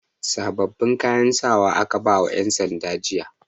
Sababbin kayan sawa aka bai wa 'yansanda jiya.